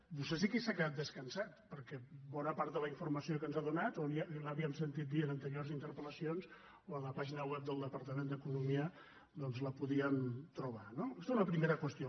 vostè sí que s’ha quedat descansat perquè bona part de la informació que ens ha donat o ja li ho havíem sentit dir en anteriors interpel·lacions o en la pàgina web del departament d’economia doncs la podíem trobar no aquesta una primera qüestió